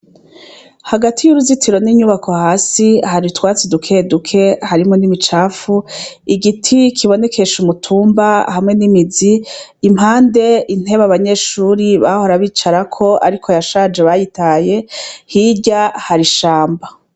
Hagati yuruzitiro ninyubako hasi hari utwatsi duke duke harimwo nimicafu igiti kibonekesha umutumba hamwe nimizi impande intebe abanyeshuri bahora bicarako ariko yashaje bataye hirya hari ishamba